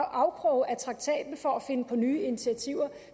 afkroge af traktaten for at finde på nye initiativer